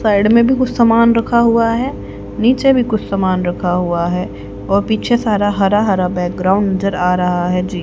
side में भी कुछ समान रखा हुआ है नीचे नहीं कुछ समान रखा हुआ है और पीछे सारा हरा-हरा बैकग्राउंड नजर आ रहा है जी --